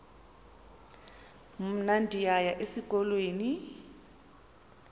mna ndiyaya esikolweni